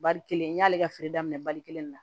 Bari kelen n y'ale ka feere daminɛ bari kelen de la